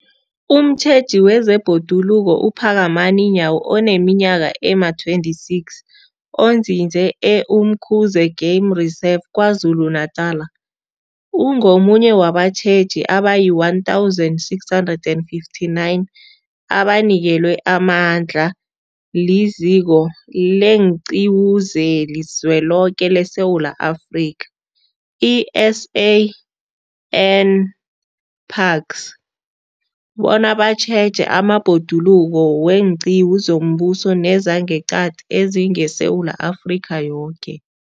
Umtjheji wezeBhoduluko uPhakamani Nyawo oneminyaka ema-26, onzinze e-Umkhuze Game Reserve KwaZulu-Natala, ungomunye wabatjheji abayi-1 659 abanikelwe amandla liZiko leenQiwu zeliZweloke leSewula Afrika, i-SANParks, bona batjheje amabhoduluko weenqiwu zombuso nezangeqadi ezingeSewula Afrika yoke.